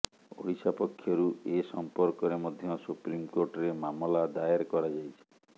ଓଡ଼ିଶା ପକ୍ଷରୁ ଏ ସଂପର୍କରେ ମଧ୍ୟ ସୁପ୍ରିମକୋର୍ଟରେ ମାମଲା ଦାୟର କରାଯାଇଛି